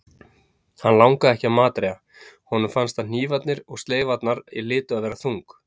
Hann langaði ekki að matreiða- honum fannst að hnífarnir og sleifarnar hlytu að vera þung.